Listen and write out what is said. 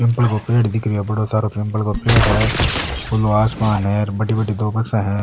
पीपल का पेड़ दिख रो है बड़ो सारा पीपल को पेड़ है खुला आसमान है र बड़ी बड़ी दो बसे है।